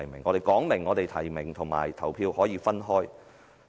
我們已明言，提名和投票是可以分開的。